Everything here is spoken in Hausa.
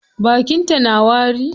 Bakin ta na wari?